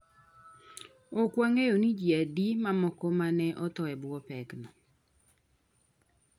Ok wang’eyo ni ji adi mamoko ma ne otho e bwo pekno.